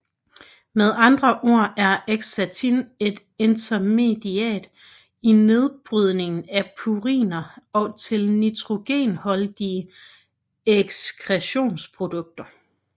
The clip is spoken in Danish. Med andre ord er xanthin et intermediat i nedbrydningen af puriner til nitrogenholdige ekskretionsprodukter